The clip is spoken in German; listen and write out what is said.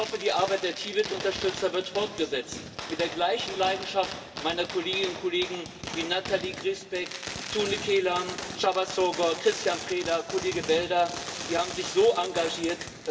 Ich hoffe, die Arbeit der Tibetunterstützer wird fortgesetzt mit der gleichen Leidenschaft meiner Kolleginnen und Kollegen wie Natalie Griesbeck, Tunne Kelam, Csaba Sógor, Cristian Dan Preda, Kollege Belder Die haben sich so engagiert.